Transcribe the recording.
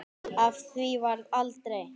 Af því varð aldrei.